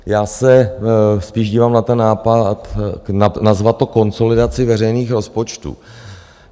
Já se spíš dívám na ten nápad nazvat to konsolidací veřejných rozpočtů.